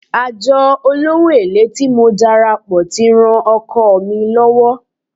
Àjọ olówó èlé tí mo darapọ̀ tí ran okòwò mi lọ́wọ́.